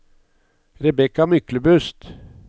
Rebecca Myklebust